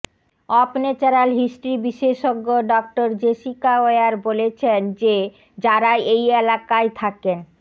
of natural history বিশেষজ্ঞ ডঃ Jessica Weir বলেছেন যে যারা এই এলাকায় থাকেন